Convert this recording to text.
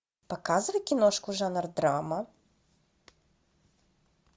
показывай киношку жанр драма